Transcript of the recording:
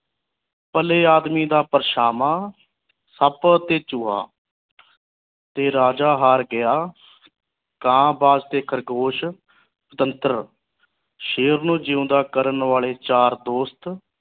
ਭਲੇ ਆਦਮੀ ਦਾ ਪਰਛਾਵਾਂ ਸੱਪ ਤੇ ਚੂਹਾ ਤੇ ਰਾਜਾ ਹਾਰ ਗਿਆ ਕਾਂ ਵਾਸਤੇ ਖ਼ਰਗੋਸ਼ ਤੰਤਰ ਸ਼ੇਰ ਨੂੰ ਜਿਓੰਦਾ ਕਰਨ ਵਾਲੇ ਚਾਰ ਦੋਸਤ